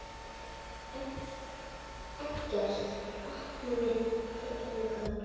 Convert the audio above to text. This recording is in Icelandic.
Eggert opnaði á einu grandi.